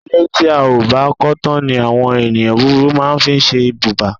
Ilé tí a ò bá kó̩ tán ni àwo̩n e̩ni búburú máa ń fí s̩e ibùbá